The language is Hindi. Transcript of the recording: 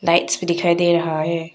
लाइट्स भी दिखाई दे रहा है।